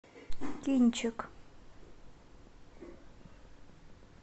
кинчик